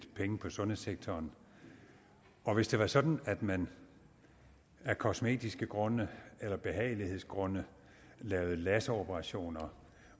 penge på sundhedssektoren og hvis det var sådan at man af kosmetiske grunde eller behagelighedsgrunde lavede laseroperationer